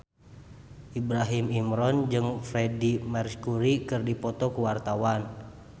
Ibrahim Imran jeung Freedie Mercury keur dipoto ku wartawan